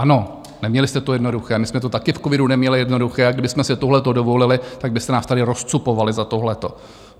Ano, neměli jste to jednoduché, my jsme to taky v covidu neměli jednoduché, a kdybychom si tohle dovolili, tak byste nás tady rozcupovali za tohle.